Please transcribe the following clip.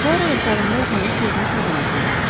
Puara yatağında uzanıb gözünü tabana zilləmişdi.